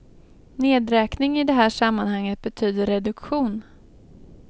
Nedräkning i det här sammanhanget betyder reduktion.